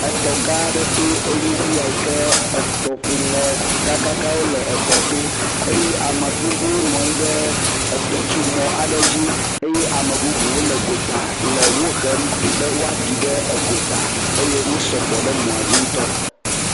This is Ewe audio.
Etɔgã aɖe toe nye ya yi ke etɔŋu nɔ gãgãgãwo le etɔto eye ame gbogbowo nɔ anyi ɖe etɔtsomɔ̃ aɖe dzi eye ame bubuwo le gota le wohem be woaɖiɖe egota. Eye wo sɔgbɔ ɖe mɔ̃a dzi ŋutɔ.